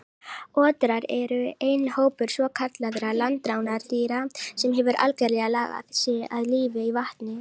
Otrar eru eini hópur svokallaðra landrándýra sem hefur algerlega lagað sig að lífi í vatni.